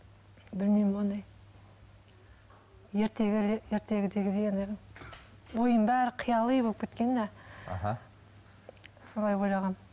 білмеймін ондай ертегідегідей ойым бәрі қияли болып кеткен де аха солай ойлағанмын